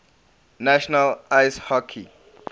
national ice hockey